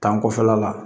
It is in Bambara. Kan kɔfɛla la